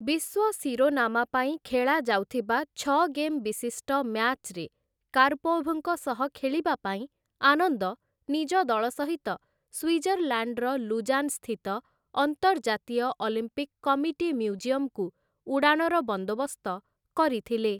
ବିଶ୍ୱ ଶିରୋନାମା ପାଇଁ ଖେଳାଯାଉଥିବା ଛଅ ଗେମ୍‌ ବିଶିଷ୍ଟ ମ୍ୟାଚ୍‌ରେ କାର୍‌ପୋଭ୍‌ଙ୍କ ସହ ଖେଳିବା ପାଇଁ ଆନନ୍ଦ ନିଜ ଦଳ ସହିତ ସ୍ୱିଜରଲାଣ୍ଡର ଲୁଜାନ୍‌ ସ୍ଥିତ ଅନ୍ତର୍ଜାତୀୟ ଅଲିମ୍ପିକ୍ କମିଟି ମ୍ୟୁଜିୟମ୍‌କୁ ଉଡ଼ାଣର ବନ୍ଦୋବସ୍ତ କରିଥିଲେ ।